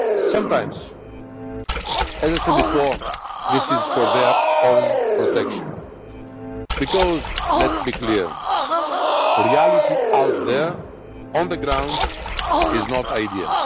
Sometimes, as I said before, this is for their own protection because let us be clear the reality out there on the ground is not ideal.